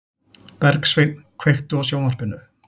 Bergsveinn, kveiktu á sjónvarpinu.